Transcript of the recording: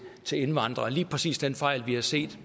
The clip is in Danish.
til indvandrere og lige præcis den fejl vi har set